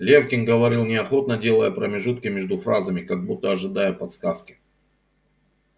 лефкин говорил неохотно делая промежутки между фразами как будто ожидая подсказки